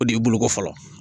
O de ye boloko fɔlɔ